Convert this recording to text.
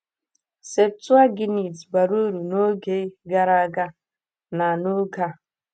Septụaginti—bara uru n’oge gara aga na n’oge a.